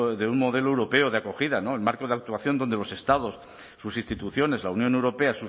de un modelo europeo de acogida no el marco de actuación donde los estados sus instituciones la unión europea